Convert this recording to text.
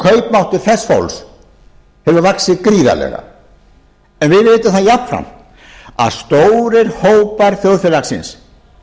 kaupmáttur þess fólks hefur vaxið gríðarlega en við vitum það jafnframt að stórir hópa þjóðfélagsins